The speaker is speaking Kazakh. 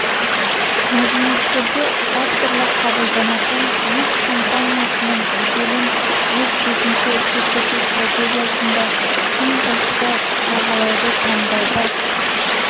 мәдениеттерде әртүрлі қабылданатын өз компаниясының беделін өз бетінше көрсету стратегиясында тым жоғары бағалауды таңдауда